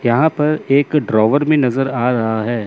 यहां पर एक ड्रॉवर में नजर आ रहा है।